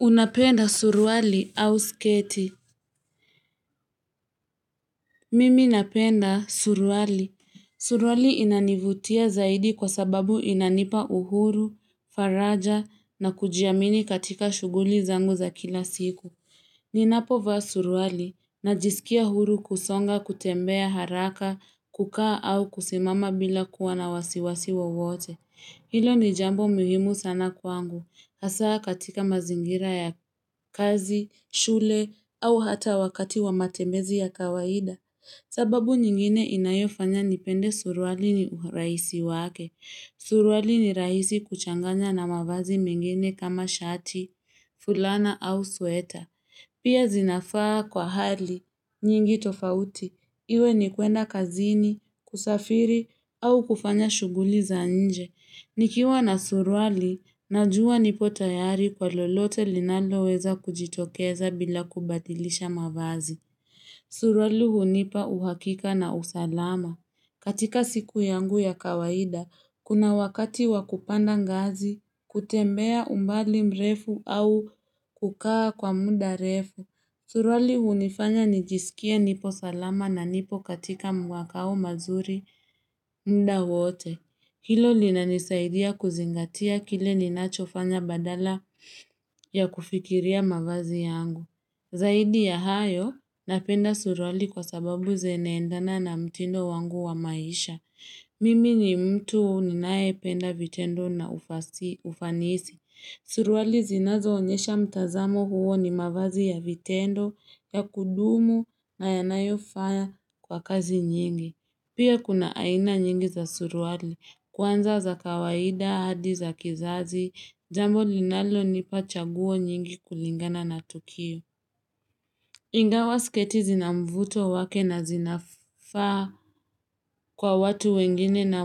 Unapenda suruali au sketi. Mimi napenda surwali. Suruali inanivutia zaidi kwa sababu inanipa uhuru, faraja na kujiamini katika shuguli zangu za kila siku. Ninapovaa suruali najiskia huru kusonga, kutembea haraka, kukaa au kusimama bila kuwa na wasiwasi wowote. Hilo ni jambo mihimu sana kwangu. Hasaa katika mazingira ya kazi, shule au hata wakati wa matemezi ya kawaida. Sababu nyingine inayofanya nipende suruali ni uraisi wake. Suruali ni raisi kuchanganya na mavazi mengine kama shati, fulana au sweta. Pia zinafaa kwa hali, nyingi tofauti, iwe ni kuenda kazini, kusafiri, au kufanya shuguli za nje. Nikiwa na suruali, najua nipo tayari kwa lolote linalo weza kujitokeza bila kubadilisha mavazi. Suruali unipa uhakika na usalama. Katika siku yangu ya kawaida, kuna wakati wa kupanda ngazi, kutembea umbali mrefu au kukaa kwa muda refu. Suruali unifanya nijiskie nipo salama na nipo katika makao mazuri mda wote. Hilo linanisaidia kuzingatia kile ninacho fanya badala ya kufikiria mavazi yangu. Zaidi ya hayo, napenda suruali kwa sababu zineendana na mtindo wangu wa maisha. Mimi ni mtu ninaye penda vitendo na ufanisi. Suruali zinazo onyesha mtazamo huo ni mavazi ya vitendo, ya kudumu na yanayo faa kwa kazi nyingi. Pia kuna aina nyingi za suruali, kwanza za kawaida, hadi za kizazi, jambo linalo nipa chaguo nyingi kulingana na tukio. Ingawa sketi zina mvuto wake na zinafaa kwa watu wengine na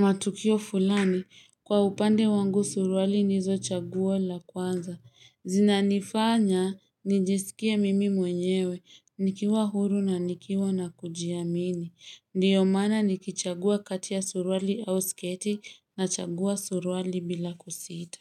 matukio fulani kwa upande wangu suruali nizo chagua la kwanza. Zinanifanya nijiskie mimi mwenyewe, nikiwa huru na nikiwa na kujiamini. Ndiyo maana nikichagua kati ya suruali au sketi nachagua suruali bila kusita.